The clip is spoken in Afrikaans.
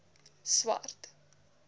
swart